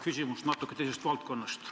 Küsimus on natuke teisest valdkonnast.